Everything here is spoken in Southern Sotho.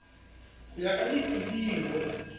ho ya ka pilir o